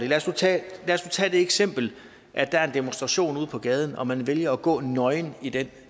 lad os nu tage det eksempel at der er en demonstration ude på gaden og at man vælger at gå nøgen i den